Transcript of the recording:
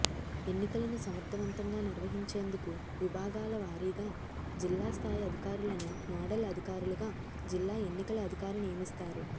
ఎన్నికలను సమర్థవంతంగా నిర్వహించేందుకు విభాగాల వా రీగా జిల్లాస్థాయి అధికారులను నోడల్ అధికారులుగా జిల్లా ఎన్నికల అధికారి నియమిస్తారు